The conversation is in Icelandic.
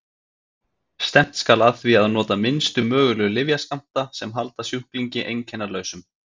stefnt skal að því að nota minnstu mögulegu lyfjaskammta sem halda sjúklingi einkennalausum